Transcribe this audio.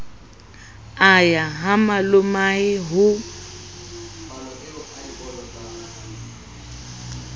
a ya ha malomae ho